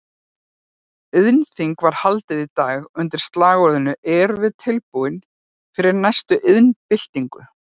Iðnþing var haldið í dag undir slagorðinu Erum við tilbúin fyrir næstu iðnbyltingu?